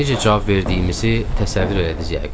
Necə cavab verdiyimizi təsəvvür elədiz yəqin.